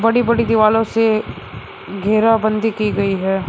बड़ी बड़ी दीवालो से घेराबंदी की गई है।